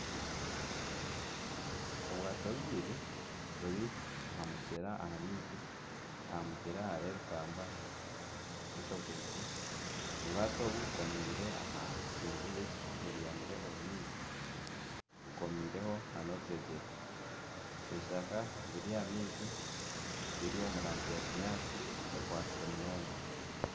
Obwato bubiri buri aha mugyera aha amaizi aha mugyera hariho ebikamba bishongwize, obwato obu bukomirwe aha mpimbi y'ekiti ebyamire omu maizi bukomireho n'orujegyere ebishaka ebiri aha maizi biri omu rangi ya kinyaatsi ekwatsire munonga.